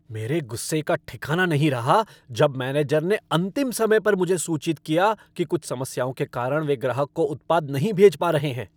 मेरे गुस्से का ठिकाना नहीं रहा जब मैनेजर ने अंतिम समय पर मुझे सूचित किया कि कुछ समस्याओं के कारण वे ग्राहक को उत्पाद नहीं भेज पा रहे हैं।